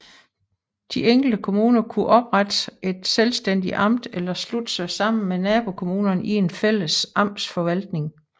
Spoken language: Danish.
De enkelte kommuner kunne oprette et selvstændigt amt eller slutte sig sammen med nabokommunerne i en fælles amtsforvaltning